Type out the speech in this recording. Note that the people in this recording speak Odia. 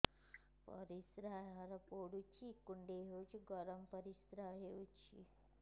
ପରିସ୍ରା ଘର ପୁଡୁଚି କୁଣ୍ଡେଇ ହଉଚି ଗରମ ପରିସ୍ରା ହଉଚି